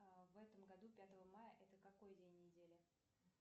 в этом году пятого мая это какой день недели